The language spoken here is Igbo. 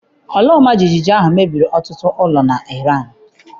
Ala ọmajiji ahụ mebiri ọtụtụ ụlọ na Iran.